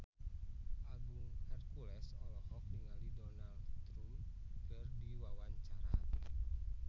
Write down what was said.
Agung Hercules olohok ningali Donald Trump keur diwawancara